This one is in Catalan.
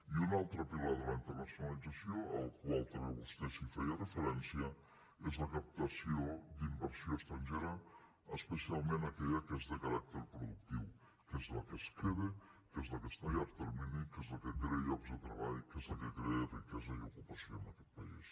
i un altre pilar de la internacionalització al qual també vostè feia referència és la captació d’inversió estrangera especialment aquella que és de caràcter productiu que és la que es queda que és la que està a llarg termini que és la que crea llocs de treball que és la que crea riquesa i ocupació en aquest país